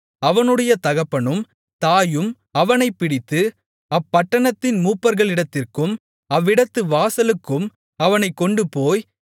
அவனுடைய தகப்பனும் தாயும் அவனைப் பிடித்து அப்பட்டணத்தின் மூப்பர்களிடத்திற்கும் அவ்விடத்து வாசலுக்கும் அவனைக் கொண்டுபோய்